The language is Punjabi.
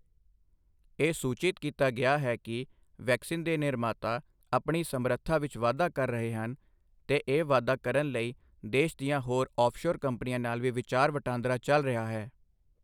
ਇਹ ਸੂਚਿਤ ਕੀਤਾ ਗਿਆ ਕਿ ਵੈਕਸੀਨ ਦੇ ਨਿਰਮਾਤਾ ਆਪਣੀ ਸਮਰੱਥਾ ਵਿੱਚ ਵਾਧਾ ਕਰ ਰਹੇ ਹਨ ਤੇ ਇਹ ਵਾਧਾ ਕਰਨ ਲਈ ਦੇਸ਼ ਦੀਆਂ ਹੋਰ ਔਫ਼ਸ਼ੋਰ ਕੰਪਨੀਆਂ ਨਾਲ ਵੀ ਵਿਚਾਰ ਵਟਾਂਦਰਾ ਚੱਲ ਰਿਹਾ ਹੈ।